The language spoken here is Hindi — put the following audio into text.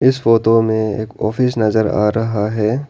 इस फोतो में एक ऑफिस नजर आ रहा है।